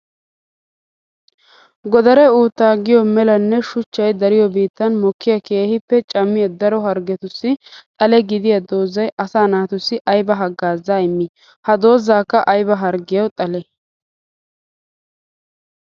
Godare uutta giyo melanne shuchchay dariyo biittan mokkiya keehippe cammiya daro harggettussi xale gidiya doozay asaa naatussi aybba hagaaza immii? Ha doozakka aybba harggiya xalli?